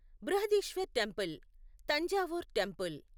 Brihadeeswarar temple Thanjavur temple